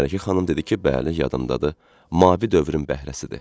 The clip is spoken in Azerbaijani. Mələkə xanım dedi ki, bəli, yadımdadır, mavi dövrün bəhrəsidir.